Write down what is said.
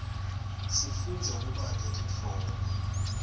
sifundza kubata titfombe